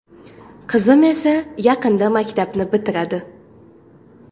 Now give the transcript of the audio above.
Qizim esa yaqinda maktabni bitiradi.